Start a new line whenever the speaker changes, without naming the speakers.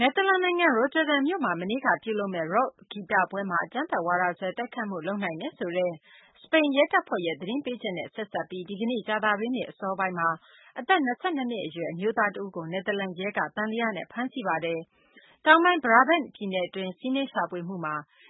နယ်သာလန်နိုင်ငံ Rotterdam မြို့မှာ မနေ့က ပြုလုပ်မယ့် ရော့ခ်ဂီတပွဲမှာ အကြမ်းဖက်ဝါဒစွဲ တိုက်ခိုက်မှုလုပ်နိုင်တယ်ဆိုတဲ့ စပိန်ရဲတပ်ဖွဲ့ရဲ့ သတင်းပေးချက်နဲ့ ဆက်စပ်ပြီး ဒီကနေ့ ကြာသပတေးနေ့ အစောပိုင်းမှာ အသက် ၂၂ နှစ် အရွယ် အမျိုးသား တဦးကို နယ်သာလန်ရဲကသံသယနဲ့ ဖမ်းဆီးလိုက်ပါတယ်။ တောင်ပိုင်း Brabant ပြည်နယ်တွင်း စီးနင်းရှာဖွေမှု